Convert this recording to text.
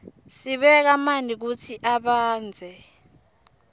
sibeka manti kutsi abandze